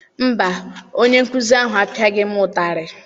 Mba, onye nkụzi ahụ apiaghi m ụtarị.